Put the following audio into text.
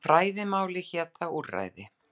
Á fræðimáli hét það úrræði.